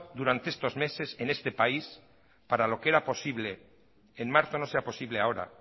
durante estos meses en este país para lo que era posible en marzo no sea posible ahora